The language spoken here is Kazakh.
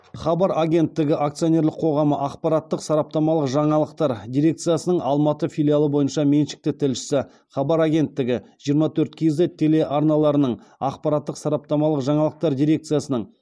хабар агенттігі акционерлік қоғамы ақпараттық сараптамалық жаңалықтар дирекциясының алматы филиалы бойынша меншікті тілшісі хабар агенттігі жиырма төрт кз телеарналарының ақпараттық сараптамалық жаңалықтар дирекциясының